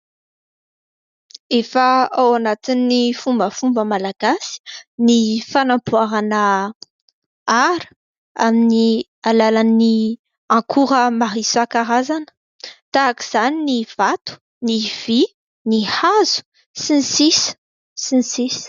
Efa ao anatin'ny fombafomba malagasy ny fanamboarana ara amin'ny alalan'ny akora maro isan-karazany tahak'izany ny vato, ny vy, ny hazo, sy ny sisa, sy ny sisa ...